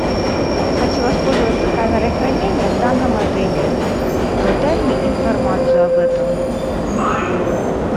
хочу воспользоваться камерой хранения в данном отеле дай мне информацию об этом